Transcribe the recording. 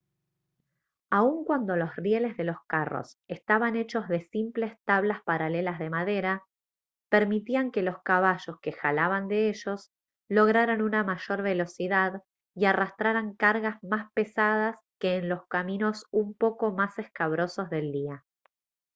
aun cuando los rieles de los carros estaban hechos de simples tablas paralelas de madera permitían que los caballos que jalaban de ellos lograran una mayor velocidad y arrastraran cargas más pesadas que en los caminos un poco más escabrosos del día